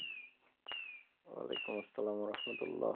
ওলাইকুম আসসালাম রহমতউল্লাহ